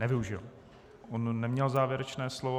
Nevyužil, on neměl závěrečné slovo.